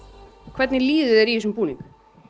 hvernig líður þér í þessum búning